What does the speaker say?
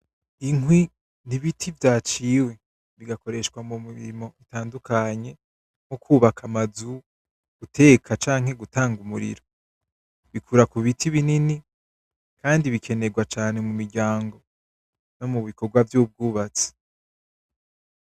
Inkwi n’ibiti vyaciwe bigakoresha mumirimo itandukanye, nko kubaka amazu, guteka, canke gutanga umuriro. Bikura kubiti binini, kandi bikenerwa cane mumiryango, nomubikorwa vyubwubatsi.